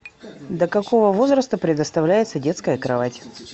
до какого возраста предоставляется детская кровать